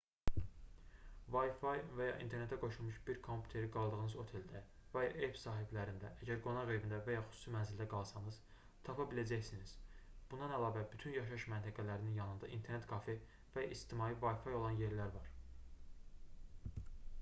wifi və ya internetə qoşulmuş bir kompüteri qaldığınız oteldə və ya ev sahiblərində əgər qonaq evində və ya xüsusi mənzildə qalsanız tapa biləcəksiniz bundan əlavə bütün yaşayış məntəqələrinin yanında internet kafe və ya ictimai wifi olan yerlər var